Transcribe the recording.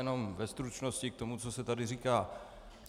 Jenom ve stručnosti k tomu, co se tady říká.